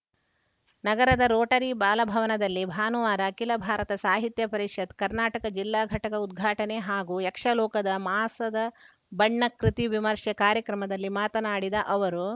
ನಗರದ ರೋಟರಿ ಬಾಲಭವನದಲ್ಲಿ ಭಾನುವಾರ ಅಖಿಲ ಭಾರತ ಸಾಹಿತ್ಯ ಪರಿಷತ್‌ ಕರ್ನಾಟಕ ಜಿಲ್ಲಾ ಘಟಕ ಉದ್ಘಾಟನೆ ಹಾಗೂ ಯಕ್ಷ ಲೋಕದ ಮಾಸದ ಬಣ್ಣ ಕೃತಿ ವಿಮರ್ಶೆ ಕಾರ್ಯಕ್ರಮದಲ್ಲಿ ಮಾತನಾಡಿದ ಅವರು